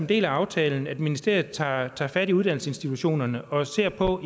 del af aftalen at ministeriet tager fat i uddannelsesinstitutionerne og ser på